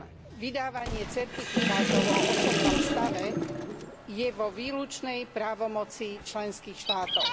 CitujemVydávanie certifikátov o osobnom stave je vo výlučnej právomoci členských štátov.